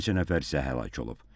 Bir neçə nəfər isə həlak olub.